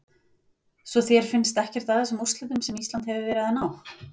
Svo þér finnst ekkert að þessum úrslitum sem Ísland hefur verið að ná?